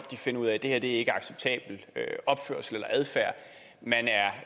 finder ud af at det her ikke er en acceptabel opførsel eller adfærd man